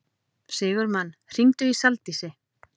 Sigurmann, hringdu í Saldísi.